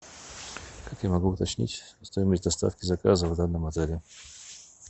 как я могу уточнить стоимость доставки заказа в данном отеле